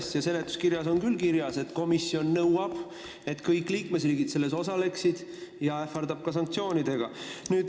Komisjoni teatise seletuskirjas on küll kirjas, et komisjon nõuab, et kõik liikmesriigid selles skeemis osaleksid, ja ähvardab ka sanktsioonidega.